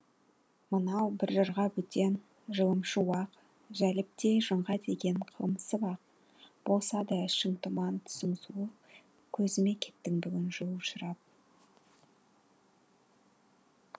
мынау бір жырға бөтен жылымшы уақ жәлептей жыңға тиген қылымсып ақ болса да ішің тұман түсің суық көзіме кеттің бүгін жылушырап